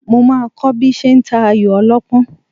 Mo máa kọ́ bí ṣe ń ta ayò ọlọ́pọ́n